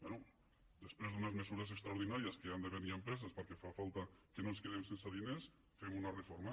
bé després d’unes mesures extraordinàries que han de venir amb presses perquè fa falta que no ens quedem sense diners fem una reforma